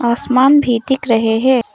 असमान भी दिख रहे है।